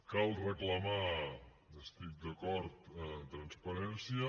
cal reclamar hi estic d’acord transparència